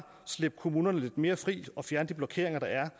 slippe kommunerne lidt mere fri og fjerne de blokeringer der er